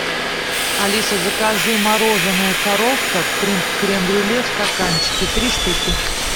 алиса закажи мороженое коровка крем брюле в стаканчике три штуки